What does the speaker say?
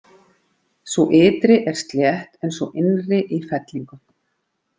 Sú ytri er slétt en sú innri í fellingum.